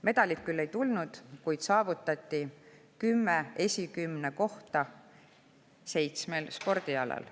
Medalit ei tulnud, kuid saavutati kümme esikümnekohta seitsmel spordialal.